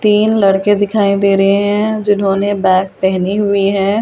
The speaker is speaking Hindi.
तीन लड़के दिखाई दे रहे है जिन्होंने बैग पहनी हुई है और एक।